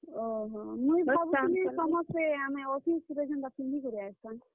ଓହୋ ମୁଇଁ କହୁଥିଲି ସମସ୍ତେ ଆମେ office ରେ ଯେନ୍ ତା ପିନ୍ଧିକରି ଆଏଁସାଁ।